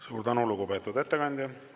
Suur tänu, lugupeetud ettekandja!